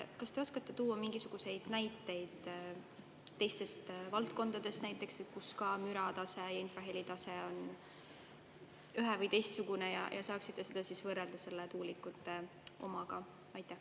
Kas te oskate tuua mingisuguseid näiteid teistest valdkondadest, kus müratase ja infrahelitase on ühe‑ või teistsugune, ja saaksite seda võrrelda tuulikute omaga?